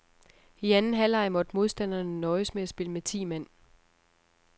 I anden halvleg måtte modstanderne nøjes med at spille med ti mand.